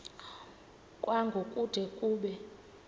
kwango kude kube